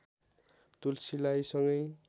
तुलसीलाई सँगै